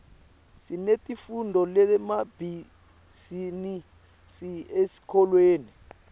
sinetifundvo temabhizinisi esikolweni